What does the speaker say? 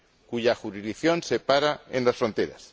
cuya jurisdicción se para en las fronteras.